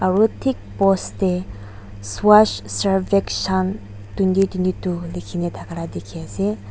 aro thik post tey swacch survekshan twenty twenty two likhina thakiala dikhi ase.